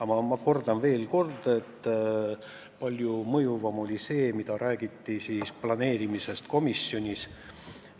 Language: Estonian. Aga ma kordan veel kord, et palju mõjuvam oli see, mida räägiti planeerimisest komisjonis.